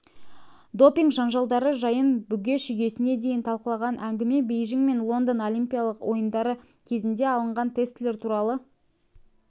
допинг-жанжалдары жайын бүге-шігесіне дейін талқылаған әңгіме бейжің мен лондон олимпиялық ойындары кезінде алынған тестілер туралы